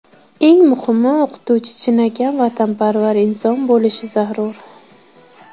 Eng muhimi, o‘qituvchi chinakam vatanparvar inson bo‘lishi zarur.